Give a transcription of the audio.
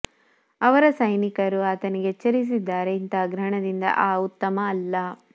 ಅವರ ಸೈನಿಕರು ಆತನಿಗೆ ಎಚ್ಚರಿಸಿದ್ದಾರೆ ಇಂತಹ ಗ್ರಹಣದಿಂದ ಆ ಉತ್ತಮ ಅಲ್ಲ